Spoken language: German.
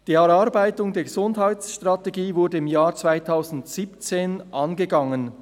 «Die Erarbeitung der Gesundheitsstrategie wurde im Jahr 2017 angegangen.